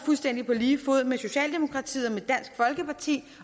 fuldstændig på lige fod med socialdemokratiet